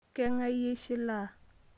Keng'ai iyie eshilaa